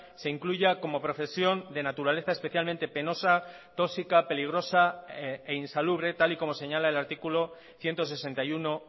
se incluya como profesión de naturaleza especialmente penosa toxica peligrosa e insalubre tal y como señala el artículo ciento sesenta y uno